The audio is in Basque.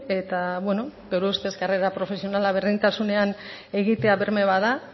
eta beno gure ustez karrera profesionala berdintasunean egitea berme bat da